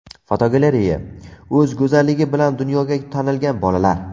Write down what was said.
Fotogalereya: O‘z go‘zalligi bilan dunyoga tanilgan bolalar.